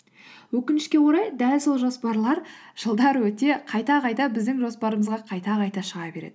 өкінішке орай дәл сол жоспарлар жылдар өте қайта қайта біздің жоспарымызға қайта қайта шыға береді